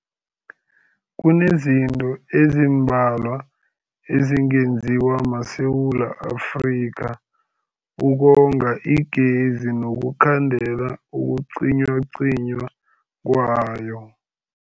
Kunezinto ezimbalwa ezingenziwa maSewula Afrika ukonga igezi nokukhandela ukucinywacinywa kwayo.